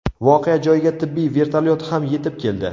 Voqea joyiga tibbiy vertolyot ham yetib keldi.